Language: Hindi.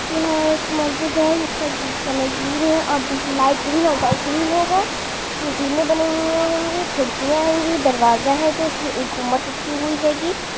यहाँ एक मस्जिद है जिसका कलर ग्रीन है